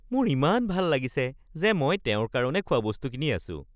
মোৰ ইমান ভাল লাগিছে যে মই তেওঁৰ কাৰণে খোৱাবস্তু কিনি আছো